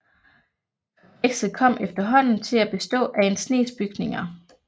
Komplekset kom efterhånden til at bestå af en snes bygninger